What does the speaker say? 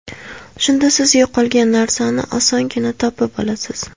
Shunda siz yo‘qolgan narsani osongina topib olasiz.